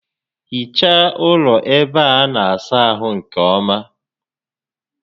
Hichaa ụlọ ébé a na-asa ahụ nkè ọma